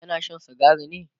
yana Shan sigari ne?